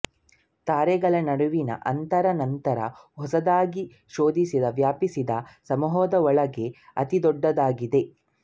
ತಾರೆಗಳ ನಡುವಿನ ಅಂತರ ನಂತರ ಹೊಸದಾಗಿ ಶೋಧಿಸಿ ವ್ಯಾಪಿಸಿದ ಸಮೂಹಗಳೊಳಗೆ ಅತಿ ದೊಡ್ಡದಾಗಿದೆ